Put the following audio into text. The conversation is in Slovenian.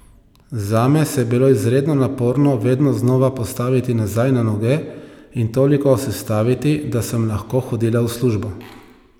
Zame se je bilo izredno naporno vedno znova postaviti nazaj na noge in toliko sestaviti, da sem lahko hodila v službo.